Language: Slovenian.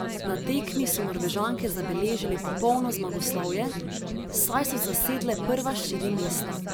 Na tekmi so Norvežanke zabeležile popolno zmagoslavje, saj so zasedle prva štiri mesta.